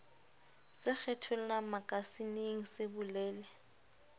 se kgethollang makasineng se bolele